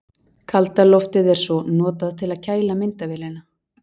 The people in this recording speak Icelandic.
Kalda loftið er svo notað til að kæla myndavélina.